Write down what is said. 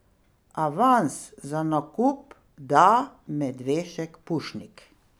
Avans za nakup da Medvešek Pušnik.